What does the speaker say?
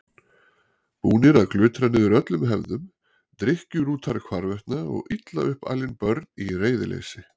Búnir að glutra niður öllum hefðum, drykkjurútar hvarvetna og illa upp alin börn í reiðileysi.